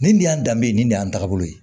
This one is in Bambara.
Nin de y'an danbe ye nin de y'an taabolo ye